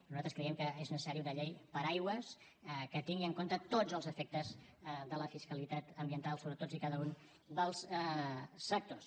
nosaltres creiem que és necessari una llei paraigua que tingui en compte tots els efectes de la fiscalitat ambiental sobre tots i cada un dels sectors